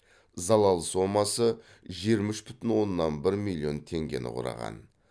залал сомасы жиырма үш бүтін оннан бір миллион теңгені құраған